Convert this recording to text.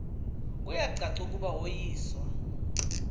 kuyacaca ukuba woyiswa